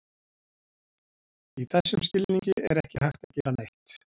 Í þessum skilningi er ekki hægt að gera ekki neitt.